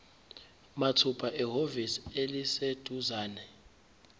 mathupha ehhovisi eliseduzane